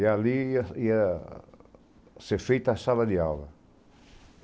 E ali ia ser feita a sala de aula.